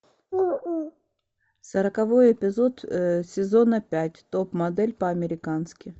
сороковой эпизод сезона пять топ модель по американски